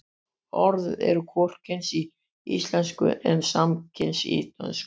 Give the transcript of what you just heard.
orðið er hvorugkyns í íslensku en samkyns í dönsku